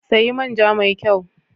Sayi manja mai kyau!